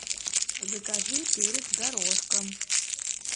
закажи перец горошком